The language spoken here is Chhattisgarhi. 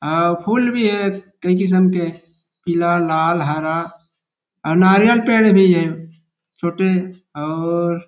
अउ फूल भी हे कई किसम के पीला लाल हरा और नारियल पेड़ भी हे छोटे और